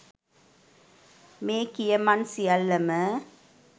මේ කියමන් සියල්ලම